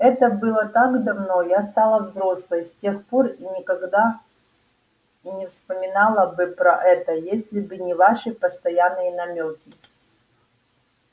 это было так давно я стала взрослой с тех пор и никогда и не вспоминала бы про это если бы не ваши постоянные намёки